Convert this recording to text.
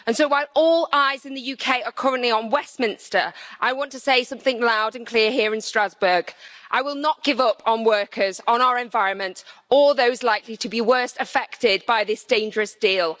So, while all eyes in the UK are currently on Westminster, I want to say something loud and clear here in Strasbourg I will not give up on workers, on our environment, or on those likely to be worst affected by this dangerous deal.